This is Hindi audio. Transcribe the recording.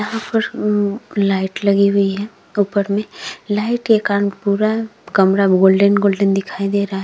यहां पर लाइट लगी हुई है। ऊपर में लाइट के कारण पूरा कमरा गोल्डेन-गोल्डेन दिखाई दे रहा है।